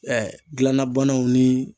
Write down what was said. gilanna banaw ni